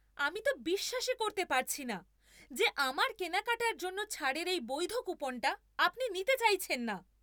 আমি তো বিশ্বাসই করতে পারছি না যে আমার কেনাকাটার জন্য ছাড়ের এই বৈধ কুপনটা আপনি নিতে চাইছেন না।